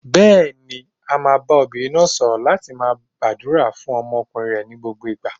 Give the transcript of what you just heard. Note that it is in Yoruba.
Bẹ́ẹ̀ni, a máa bá obìnrin náà sọ̀rọ̀ láti máa gbàdúrà fún ọmọkùnrin rẹ̀ ní gbogbo ìgbà.